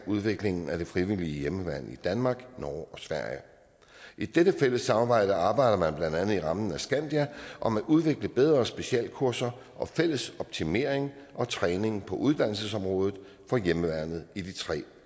udviklingen af det frivillige hjemmeværn i danmark norge og sverige i dette fælles samarbejde arbejder man blandt andet i rammen af skandia om at udvikle bedre specialkurser og fælles optimering og træning på uddannelsesområdet for hjemmeværnet i de tre